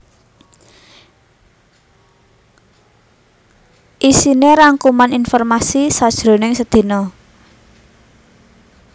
Iisiné rangkuman informasi sajroning sedina